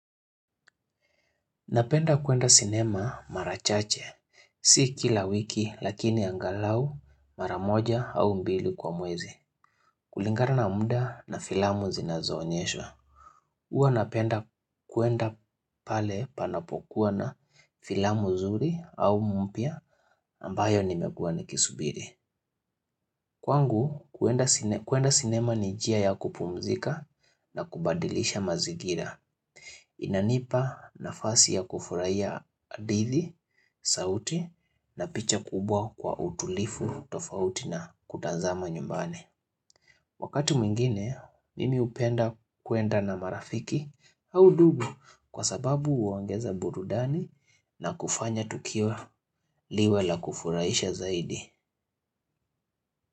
Napenda kuenda sinema mara chache. Si kila wiki lakini angalau mara moja au mbili kwa mwezi. Kulingana na muda na filamu zinazoonyeshwa. Huwa napenda kwenda pale panapokuwa na filamu nzuri au mpya ambayo nimekuwa nikisubiri. Kwangu kuenda sinema ni njia ya kupumzika na kubadilisha mazigira. Inanipa nafasi ya kufurahia hadithi, sauti na picha kubwa kwa utulivu, tofauti na kutazama nyumbani. Wakati mwingine, mimi upenda kwenda na marafiki au ndugu kwa sababu uongeza burudani na kufanya tukiwa liwe la kufuraiisha zaidi.